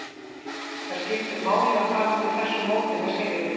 Það skiptir máli að fara út úr þessu móti með sigri.